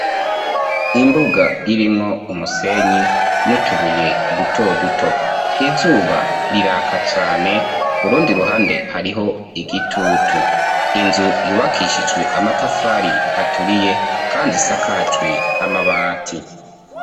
Imbuga irimwo umusenyi n'utubuye duto duto izuba riraka cane kurundi ruhande hariho igitutu, inzu yubakishiswe amatafari aturiye kandi isakajwe amabati.